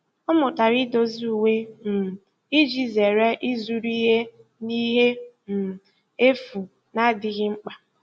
Ọ mụtara idozi uwe um iji zere ịzụrụ ihe na ihe um efu na-adịghị mkpa.